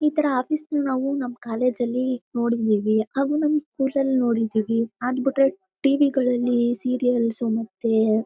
ಈ ತರ ಆಫೀಸ್ ನ ನಾವು ಕಾಲೇಜು ಅಲ್ಲಿ ನೋಡಿದ್ವಿ. ಹಾಗು ನಮ್ಮ್ ಸ್ಕೂಲ್ ಅಲ್ಲಿ ನೋಡಿದೇವಿ. ಅದ್ ಬಿಟ್ರೆ ಟಿವಿ ಗಲ್ಲಲಿ ಸೇರಿಯಲ್ಸ್ ಮತ್ತೆ--